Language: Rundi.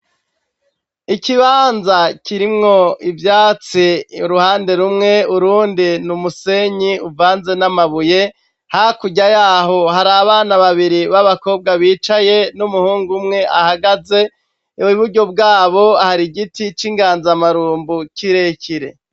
Ikibanza kirimwo ivyatsi uruhande rumwe, urundi ni musenyi uvanze n'amabuye, hakurya yaho hari abana babiri b'abakobwa bicaye n'umuhungu umwe ahagaze, iburyo bwabo hari giti c'inganzamarumbu kirekire.